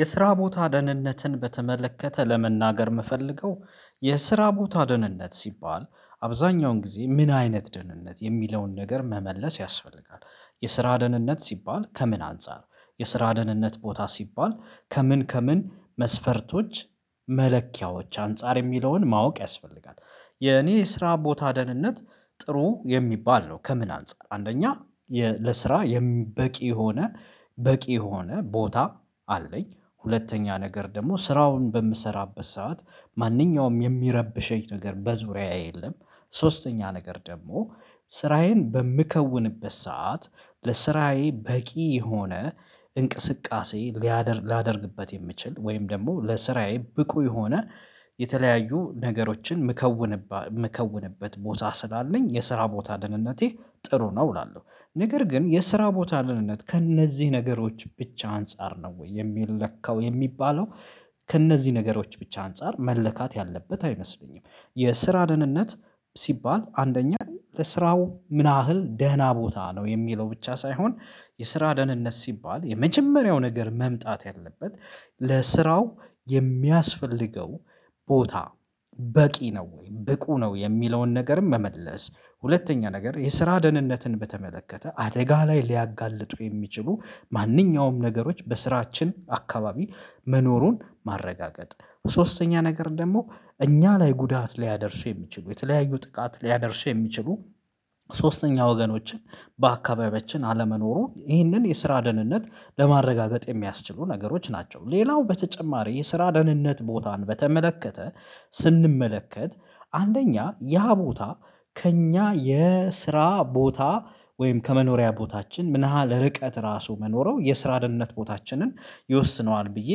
የስራ ቦታ ደህንነትን በተመለከተ ለመናገር የምፈልገው የስራ ቦታ ደህንነት ሲባል አብዛኛውን ጊዜ ምን አይነት ደህንነት የሚለውን ነገር መመለስ ያስፈልጋል? የስራ ደህንነት ሲባል ከምን አንፃር የስራ ደህንነት ቦታ ሲባል ከምን ከምን መስፈርቶች መለኪያዎች አንፃር የሚለውን ማወቅ ያስፈልጋል? የኔ ስራ ቦታ ደህንነት ጥሩ የሚባል ነው ከምን አንፃር አንደኛ ለስራ በቂ የሆነ በቂ የሆነ ቦታ አለኝ ሁለተኛ ነገር ደግሞ ስራውን በምሰራበት ሰዓት ማንኛውም የሚረብሸኝ ነገር በዙሪያዬ የለም። ሶስተኛ ነገር ደግሞ ስራዬን በምከውንበት ሰዓት ለስራዬ በቂ የሆነ እንቅስቃሴ ሌያደርግ ሊያደርግበት የሚችል ወይም ደግሞ ለስራዬ ብቁ የሆነ የተለያዩ ነገሮችን ምከዉንባቸው የምከውንበት ቦታ ስላለኝ የስራ ቦታ ደህንነቴ ጥሩ ነው እላለሁ። ነገር ግን የስራ ቦታ ልህነት ከእነዚህ ነገሮች ብቻ አንፃር ነው ወይ የሚለካው የሚባለው ከእነዚህ ነገሮች ብቻ አንፃር መለካት ያለበት አይመስለኝም። የስራ ደህንነት ሲባል አንደኛ ለስራው ምናህል ደህና ቦታ ነው የሚለው ብቻ ሳይሆን የስራ ደህንነት ሲባል የመጀመሪያው ነገር መምጣት ያለበት ለስራው የሚያስፈልገው ቦታ በቂ ነው ወይ ብቁ ነው የሚለውን ነገርም መመለስ። ሁለተኛ ነገር የስራ ደህንነትን በተመለከተ አደጋ ላይ ሊያጋልጡ የሚችሉ ማንኛውም ነገሮች በስራችን አካባቢ መኖሩን ማረጋገጥ ሶስተኛ ነገር ደግሞ እኛ ላይ ጉዳት ሊያደርሱ የሚችሉ የተለያዩ ጥቃት ሊያደርሱ የሚችሉ ሶስተኛ ወገኖችን በአካባቢያችን አለመኖሩ ይህንን የስራ ደህንነት ለማረጋገጥ የሚያስችሉ ነገሮች ናቸው። ሌላው በተጨማሪ የስራ ደህንነት ቦታን በተመለከተ ስንመለከት አንደኛ ያ ቦታ ከእኛ የስራ ቦታ ወይም ከመኖሪያ ቦታችን ምን ያህል እርቀት ራሱ መኖረው የስራ ድህነት ቦታችንን ይወስነዋል ብዬ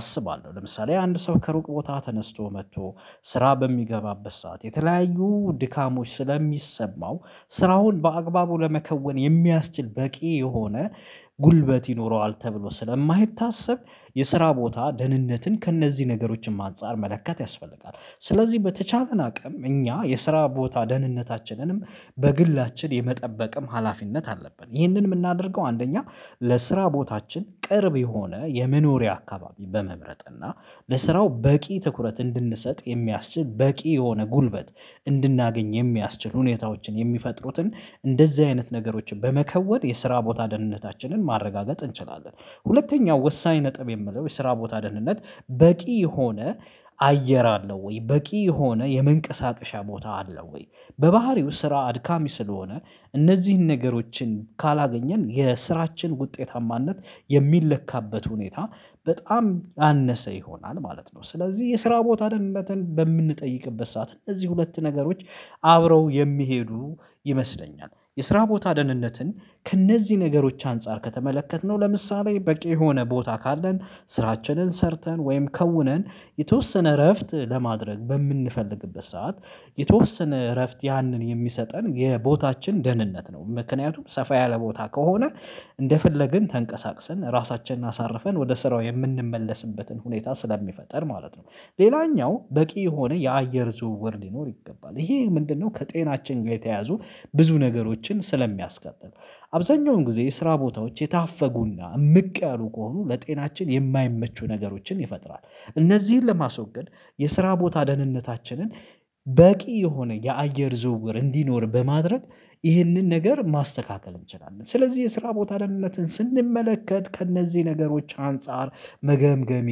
አስባለሁ ለምሳሌ አንድ ሰው ከሩቅ ቦታ ተነስቶ መጥቶ ስራ በሚገባበት ሰዓት የተለያዩ ድካሞች ስለሚሰማው ስራውን በአግባቡ ለመከወን የሚያስችል በቂ የሆነ ጉልበት ይኖረዋል ተብሎ ስለማይታሰብ የስራ ቦታ ደህንነትን ከእነዚህ ነገሮችም አንፃር መለካት ያስፈልጋል። ስለዚህ በተቻለን አቅም እኛ የስራ ቦታ ደህንነታችንንም በግላችን የመጠበቅም ሀላፊነት አለብን ይህንን የምናደርገው አንደኛ ለስራ ቦታችን ቅርብ የሆነ የመኖሪያ አካባቢ በመምረጥ እና ለስራው በቂ ትኩረት እንድንሰጥ የሚያስችል በቂ የሆነ ጉልበት እንድናገኝ የሚያስችል ሁኔታዎችን የሚፈጥሩትን እንደዚህ አይነት ነገሮችን በመከወን የስራ ቦታ ደህንነታችንን ማረጋገጥ እንችላለን። ሁለተኛው ወሳኝ ነጥብ የምንለው የስራ ቦታ ደህንነት በቂ የሆነ አየር አለው ወይ በቂ የሆነ የመንቀሳቀሻ ቦታ አለው ወይ በባህሬው ስራ አድካሚ ስለሆነ እነዚህን ነገሮችን ካላገኘን የስራችን ውጤታማነት የሚለካበት ሁኔታ በጣም አነሰ ይሆናል ማለት ነው ስለዚህ የስራ ቦታ ደንነትን በምንጠይቅበት ሰዓት እንደዚህ ሁለት ነገሮች አብረው የሚሄዱ ይመስለኛል። የስራ ቦታ ደህንነትን ከእነዚህ ነገሮች አንፃር ከተመለከትን ነው ለምሳሌ በቂ የሆነ ቦታ ካለን ስራችንን ሰርተን ወይም ከውነን የተወሰነ እረፍት ለማድረግ በምንፈልግበት ሰዓት የተወሰነ እረፍት ያንን የሚሰጠን የቦታችን ደህንነት ነው ምክንያቱም ሰፋ ያለ ቦታ ከሆነ እንደፈለግን ተንቀሳቅሰን ራሳችንን አሳርፈን ወደ ስራው የምንመለስበትን ሁኔታ ስለሚፈጥር ማለት ነው። ሌላኛው በቂ የሆነ የአየር ዝውውር ሊኖር ይገባል ይሄ ምንድነው ከጤናችን ጋር የተያዙ ብዙ ነገሮችን ስለሚያስከትል አብዛኛውን ጊዜ ስራ ቦታዎች የታፈጉና የምቀሩ ከሆኑ ለጤናችን የማይመቹ ነገሮችን ይፈጥራል። እነዚህን ለማስወገድ የስራ ቦታ ደህንነታችንን በቂ የሆነ የአየር ዝውውር እንዲኖር በማድረግ ይህንን ነገር ማስተካከል እንችላለን ስለዚህ የስራ ቦታ ደንነትን ስንመለከት ከእነዚህ ነገሮች አንፃር መገምገም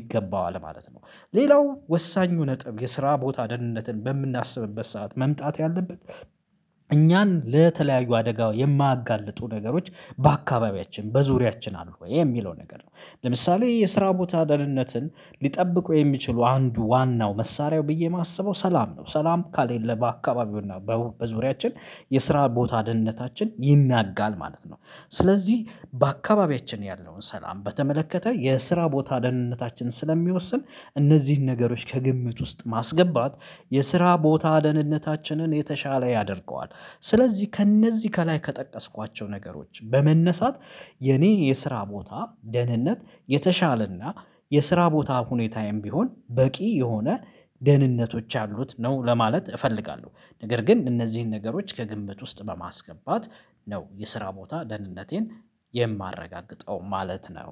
ይገባዋል ማለት ነው። ሌላው ወሳኙ ነጥብ የስራ ቦታ ደህንነትን በምናስብበት ሰዓት መምጣት ያለበት እኛን ለተለያዩ አደጋ የማያጋልጡ ነገሮች በአካባቢያችን በዙሪያችን አሉ ወይ የሚለው ነገር ነው ለምሳሌ የስራ ቦታ ደህንነትን ሊጠብቁ የሚችሉ አንዱ ዋናው መሳሪያው ብዬ የማስበው ሰላም ነው ሰላም ከሌለ በአካባቢውና በዙሪያችን የስራ ቦታ ደህንነታችን ይናጋል ማለት ነው። ስለዚህ በአካባቢያችን ያለውን ሰላም በተመለከተ የስራ ቦታ ደህንነታችን ስለሚወስን እነዚህን ነገሮች ከግምት ውስጥ ማስገባት የስራ ቦታ ደህንነታችንን የተሻለ ያደርገዋል። ስለዚህ ከእነዚህ ከላይ ከጠቀስኳቸው ነገሮች በመነሳት የኔ የስራ ቦታ ደህንነት የተሻለና የስራ ቦታ ሁኔታ ቢሆን በቂ የሆነ ደህንነቶች ያሉት ነው ለማለት እፈልጋለሁ ነገር ግን እነዚህን ነገሮች ከግምት ውስጥ በማስገባት ነው የስራ ቦታ ደህንነቴን የማረጋግጠው ማለት ነው።